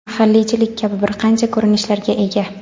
mahalliychilik kabi bir qancha ko‘rinishlarga ega.